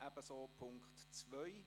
Ebenso bei Punkt 2.